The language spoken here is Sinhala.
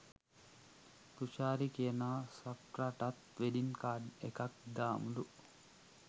තුෂාරි කියනවා සෆ්රටත් වෙඩින් කාඩ් එකක් දාමුලු.